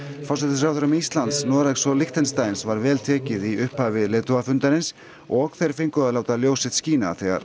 forsætisráðherrum Íslands Noregs og Liechtensteins var vel tekið í upphafi leiðtogafundarins og þeir fengu að láta ljós sitt skína þegar